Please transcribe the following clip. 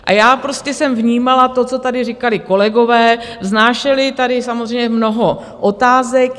A já prostě jsem vnímala to, co tady říkali kolegové, vznášeli tady samozřejmě mnoho otázek.